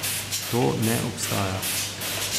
To ne obstaja.